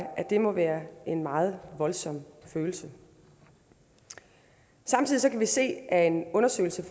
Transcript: må være en meget voldsom følelse samtidig kan vi se af en undersøgelse